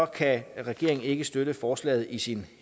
kan regeringen ikke støtte forslaget i sin